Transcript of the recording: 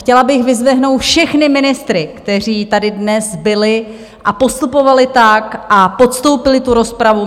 Chtěla bych vyzdvihnout všechny ministry, kteří tady dnes byli a postupovali tak a podstoupili tu rozpravu.